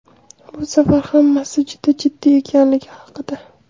Bu safar hammasi juda jiddiy ekanligi haqida !